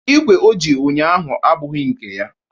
Ikwe o ji ụnyaahụ abụghị nke ya